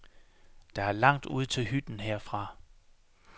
Der er langt ud til hytten herfra.